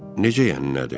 Necə yəni nədir?